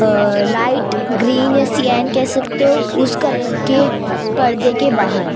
अ light green या cyan कह सकते हो उस कलर के पर्दे के बाहर--